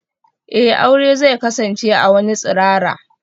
Eh, aure zai kasance a wani tsirara.